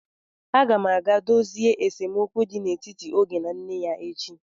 Agam aga dozie esemokwu dị n'etiti Oge na nne ya echi.